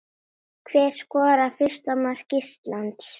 Hver skorar fyrsta mark Íslands?